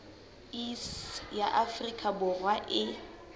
iss ya afrika borwa e